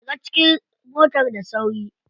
Shiga cikin motar da sauri.